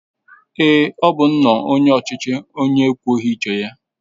Èé, ọ bụ nnọọ onye ọchịchị onye ekwughị uche ya.